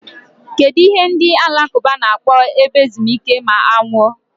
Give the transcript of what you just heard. Kedụ ihe ndị alakụba na-akpọ ebe ezumike ma a nwụọ?